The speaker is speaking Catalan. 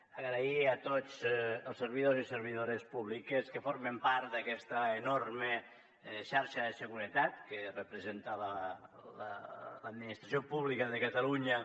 donar les gràcies a tots els servidors i servidores públiques que formen part d’aquesta enorme xarxa de seguretat que representa l’administració pública de catalunya